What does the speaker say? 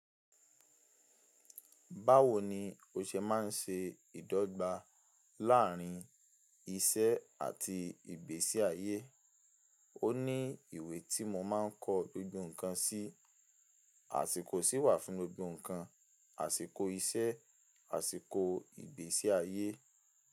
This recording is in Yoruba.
Báwo ni o ṣe máa ń ṣe ìdọ́gba láàárín ìṣe àti ìgbésí ayé? Ó ní ìwé tí mo máa ń kọ gbogbo ǹkan sí. Àsìkò sì wà fún gbogbo ǹkan, àsìkò iṣẹ́, àsìkò ìgbésí ayé.